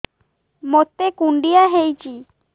ମୋତେ କୁଣ୍ଡିଆ ହେଇଚି